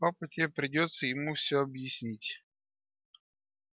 папа тебе придётся ему все объяснить